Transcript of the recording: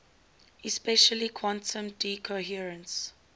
especially quantum decoherence